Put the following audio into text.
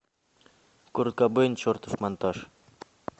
курт кобейн чертов монтаж